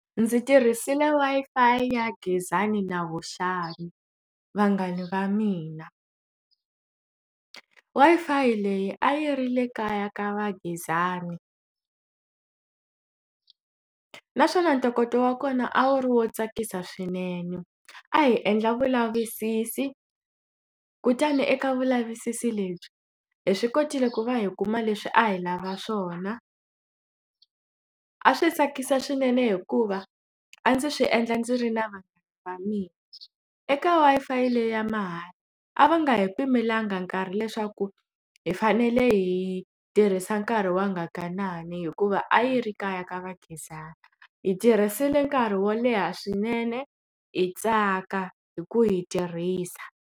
Ndzi tirhisile Wi-Fi ya Gezani na Vuxavi vangani va mina Wi-Fi leyi a yi ri le kaya ka va Gezani naswona ntokoto wa kona a wu ri wo tsakisa swinene a hi endla vulavisisi kutani eka vulavisisi lebyi hi swi kotile ku va hi kuma leswi a hi lava swona a swi tsakisa swinene hikuva a ndzi swi endla ndzi ri na vanghana va mina eka Wi-Fi leyi ya mahala a va nga hi pimela tlanga nkarhi leswaku hi fanele yeleyo hi tirhisa nkarhi wa ngakanani hikuva a yi ri kaya ka va Gezani hi tirhisile nkarhi wo leha swinene i tsaka hi ku yi tirhisa.